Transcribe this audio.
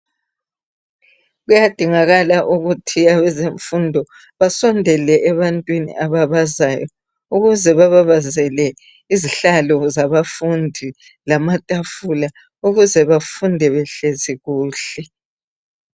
Kuyadingakala ukuthi abezemfundo basondele ebantwini abababazayo ukuze bababazele izihlalo zabafundi lamatafula ukuze bafunde behlezi kuhle.